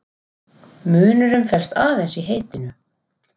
Munurinn felst aðeins í heitinu.